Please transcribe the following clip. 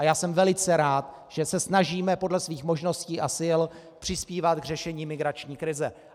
A já jsem velice rád, že se snažíme podle svých možností a sil přispívat k řešení migrační krize.